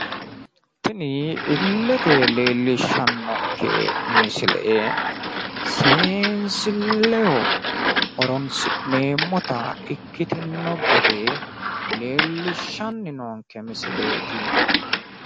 Tini illete leellishshannonke misile seensiilleho horoonsi'neemmota ikkitino gede leellishshanni noonke misileeti.